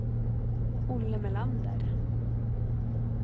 Olle Melander